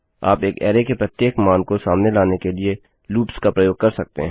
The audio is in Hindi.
आप एक अरै के प्रत्येक मान को सामने लाने के लिए लूप्स का प्रयोग कर सकते हैं